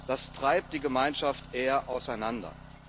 Das treibt die Gemeinschaft eher auseinander.